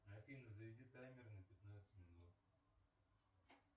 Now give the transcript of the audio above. афина заведи таймер на пятнадцать минут